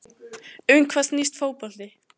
Um hvað snýst fótbolti?